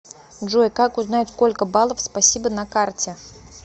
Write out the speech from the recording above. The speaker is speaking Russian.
джой как узнать сколько балов спасибо на карте